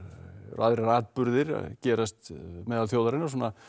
aðrir atburðir að gerast meðal þjóðarinnar